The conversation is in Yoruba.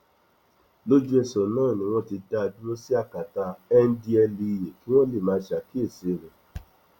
lójúẹsẹ náà ni wọn ti dá a dúró sí akátá ndtea kí wọn lè máa ṣàkíyèsí rẹ